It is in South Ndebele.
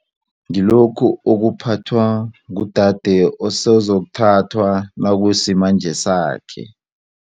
Ngilokhu okuphathwa ngudade osozokuthathwa nakusimanje sakhe.